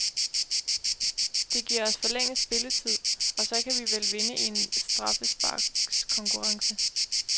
Det giver os forlænget spilletid, og så kan vi vel vinde i en straffesparkskonkurrence.